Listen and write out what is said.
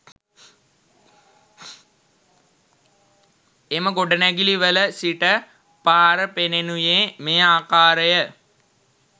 එම ගොඩනැගිලිවල සිට පාර පෙනෙනුයේ මේ ආකාරය